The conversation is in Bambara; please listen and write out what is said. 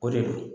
O de don